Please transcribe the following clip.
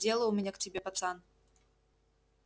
дело у меня к тебе пацан